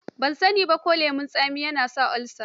Ban sani ba ko lemon tsami yana sa olsa.